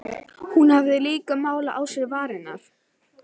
Hún hafði líka málað á sér varirnar.